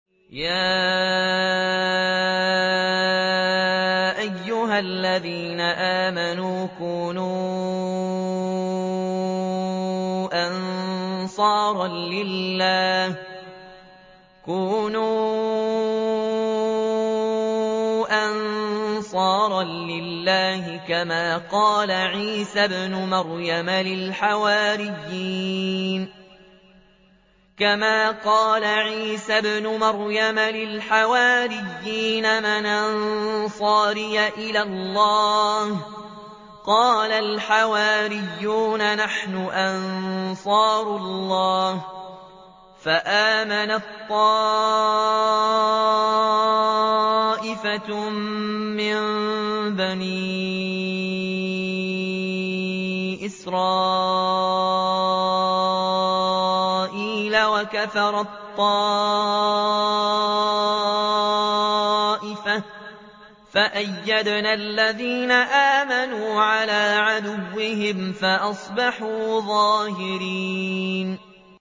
يَا أَيُّهَا الَّذِينَ آمَنُوا كُونُوا أَنصَارَ اللَّهِ كَمَا قَالَ عِيسَى ابْنُ مَرْيَمَ لِلْحَوَارِيِّينَ مَنْ أَنصَارِي إِلَى اللَّهِ ۖ قَالَ الْحَوَارِيُّونَ نَحْنُ أَنصَارُ اللَّهِ ۖ فَآمَنَت طَّائِفَةٌ مِّن بَنِي إِسْرَائِيلَ وَكَفَرَت طَّائِفَةٌ ۖ فَأَيَّدْنَا الَّذِينَ آمَنُوا عَلَىٰ عَدُوِّهِمْ فَأَصْبَحُوا ظَاهِرِينَ